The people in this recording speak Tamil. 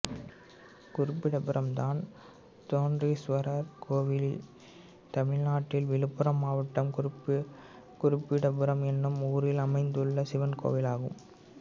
குருபீடபுரம் தான்தோன்றீஸ்வரர் கோயில் தமிழ்நாட்டில் விழுப்புரம் மாவட்டம் குருபீடபுரம் என்னும் ஊரில் அமைந்துள்ள சிவன் கோயிலாகும்